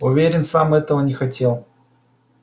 уверен сам он этого не хотел